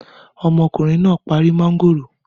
Ọmọkùnrin náà parí mángòrò?